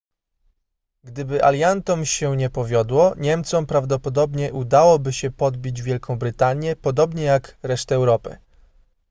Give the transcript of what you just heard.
gdyby aliantom się nie powiodło niemcom prawdopodobnie udałoby się podbić wielką brytanię podobnie jak resztę europy